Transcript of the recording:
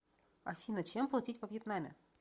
афина чем платить во вьетнаме